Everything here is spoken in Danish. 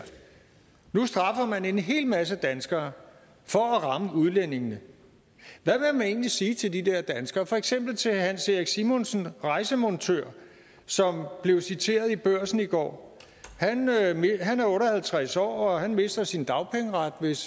nu straffer man en hel masse danskere for at ramme udlændingene hvad vil man egentlig sige til de der danskere for eksempel til herre hans erik simonsen rejsemontører som blev citeret i børsen i går han er otte og halvtreds år og han mister sin dagpengeret hvis